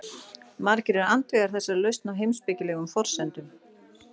Margir eru andvígir þessari lausn á heimspekilegum forsendum.